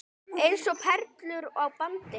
Eins og perlur á bandi.